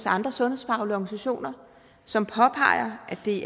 andre sundhedsfaglige organisationer som påpeger at det